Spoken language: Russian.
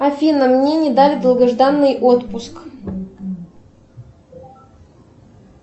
афина мне не дали долгожданный отпуск